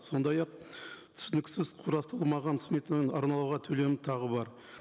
сондай ақ түсініксіз құрастырылмаған сметаның арнауға төлемі тағы бар